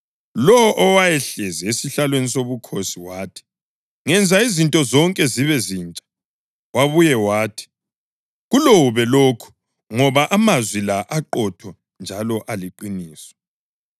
Lowo owayehlezi esihlalweni sobukhosi wathi, “Ngenza izinto zonke zibe zintsha!” Wabuya wathi, “Kulobe lokhu ngoba amazwi la aqotho njalo aliqiniso.”